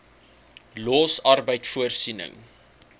los arbeid voorsiening